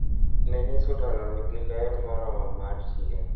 Ne ni sulano nigi ler moromo mar chieng'